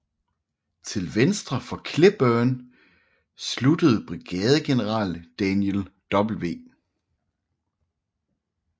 Til venstre for Cleburne sluttede brigadegeneral Daniel W